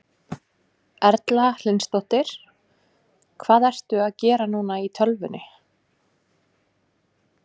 Erla Hlynsdóttir: Hvað ertu að gera núna í tölvunni?